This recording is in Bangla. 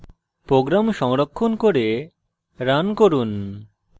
program সংরক্ষণ করে run run